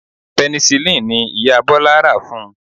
Penicillin ni Ìyá Bọ́lá rà fún